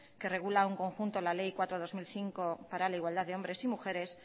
la ley cuatro barra dos mil cinco para la igualdad de hombres y mujeres